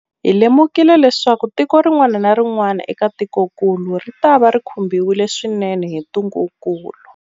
Hi lemukile leswaku tiko rin'wana na rin'wana eka tikokulu ritava ri khumbiwile swinene hi ntungukulu.